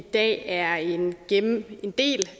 i dag er en del